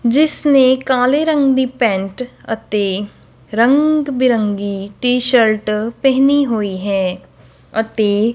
ਜਿੱਸ ਨੇਂ ਕਾਲੇ ਰੰਗ ਦੀ ਪੈਂਟ ਅਤੇ ਰੰਗ ਬਿਰੰਗੀ ਟੀ_ਸ਼ਰਟ ਪਹਿਨੀ ਹੋਈ ਹੈ ਅਤੇ--